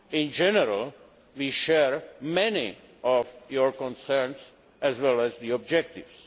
In general we share many of your concerns as well as objectives.